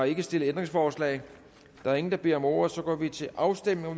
ikke stillet ændringsforslag der er ingen der beder om ordet og så går vi til afstemning og